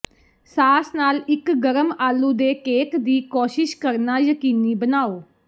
ਸਾਸ ਨਾਲ ਇੱਕ ਗਰਮ ਆਲੂ ਦੇ ਕੇਕ ਦੀ ਕੋਸ਼ਿਸ਼ ਕਰਨਾ ਯਕੀਨੀ ਬਣਾਓ